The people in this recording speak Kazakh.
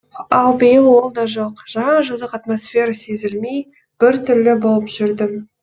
ал биыл ол да жоқ жаңа жылдық атмосфера сезілмей бір түрлі болып жүрдім